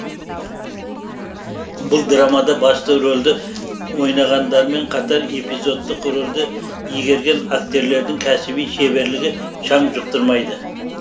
бұл драмада басты рөлді ойнағандармен қатар эпизодтық рөлді игерген актерлердің кәсіби шеберлігі шаң жұқтырмайды